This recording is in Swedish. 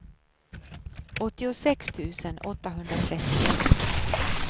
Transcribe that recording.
åttiosex tusen åttahundratrettioett